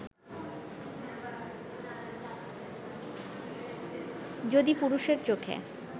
যদি পুরুষের চোখে